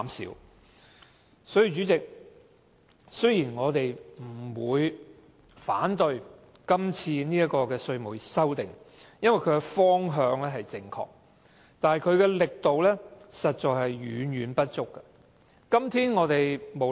因此，代理主席，雖然我們並不反對這項《條例草案》，因為它的方向正確，但力度卻嫌不足夠。